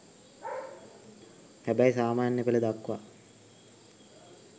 හැබැයි සාමාන්‍ය පෙළ දක්වා